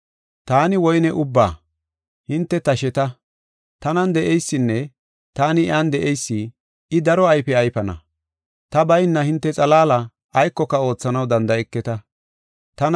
“Taani woyne ubba; hinte tasheta. Tanan de7eysinne taani iyan de7eysi, I daro ayfe ayfana. Ta bayna hinte xalaala aykoka oothanaw danda7eketa. Woyne Mithinne Iya Ayfiya